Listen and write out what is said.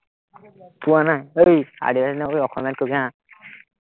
পোৱা নাই, ঐ নকবি, অসমীয়াত কবি হা